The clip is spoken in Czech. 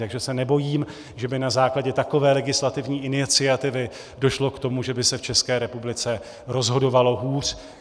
Takže se nebojím, že by na základě takové legislativní iniciativy došlo k tomu, že by se v České republice rozhodovalo hůř.